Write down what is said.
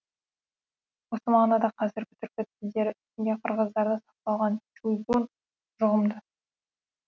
осы мағынада қазіргі түркі тілдері ішінде қырғыздарда сақталған чүйгүн жұғымды